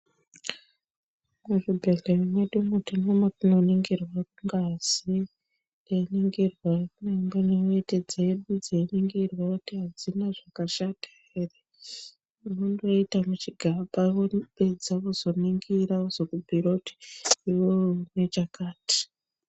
Muzvibhehlera mwedumwo tine mwatinoningirwa ngazi teiningirwa dangana neweti dzedu dzeiningirwa kuti hadzina zvakashata here. Unondoita muchigaba vapedza vozoningira vozokubhuyira kuti iwewe une chakati.